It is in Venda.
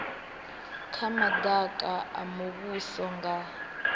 ha madaka a muvhuso nga